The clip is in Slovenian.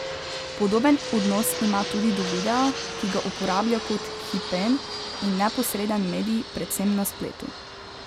Podoben odnos ima tudi do videa, ki ga uporablja kot hipen in neposreden medij predvsem na spletu.